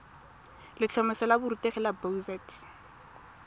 letlhomeso la borutegi la boset